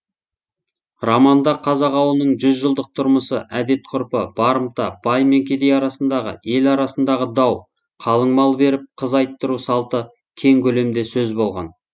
романда қазақ ауылының жүз жылдық тұрмысы әдет ғұрпы барымта бай мен кедей арасындағы ел арасындағы дау қалың мал беріп қыз айттыру салты кең көлемде сөз болған